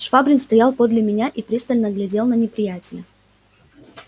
швабрин стоял подле меня и пристально глядел на неприятеля